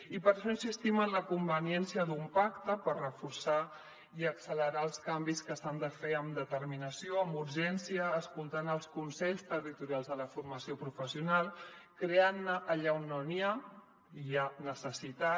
i per això insistim en la conveniència d’un pacte per reforçar i accelerar els canvis que s’han de fer amb determinació amb urgència escoltant els consells territorials de la formació professional creant ne allà on no n’hi ha i n’hi ha necessitat